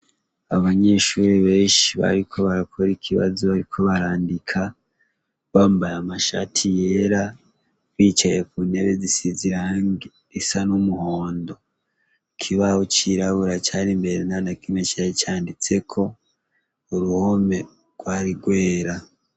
Abanyeshuri benshi bariko barakora ikibazo, ariko barandika bambare amashati yera bicaye ku ntebe zisizirange risa n'umuhondo ikibaho c'irabura cari mbere nanakimwecara icanditseko uruhome rwari rwera.